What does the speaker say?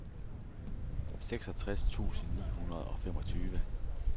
seksogtres tusind ni hundrede og femogtyve